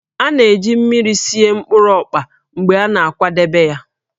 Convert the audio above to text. A na-eji mmiri sie mkpụrụ ọkpa mgbe a na-akwadebe ya